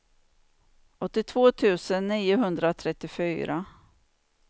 åttiotvå tusen niohundratrettiofyra